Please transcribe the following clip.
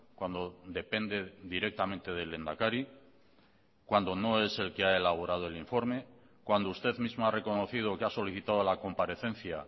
cuando depende directamente del lehendakari cuando no es el que ha elaborado el informe cuando usted mismo ha reconocido que ha solicitado a la comparecencia